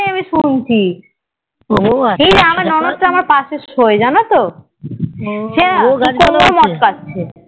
আমি শুনছি এই আমার ননদটা আমার পশে সয়ে জানতো গোলাপ গাছ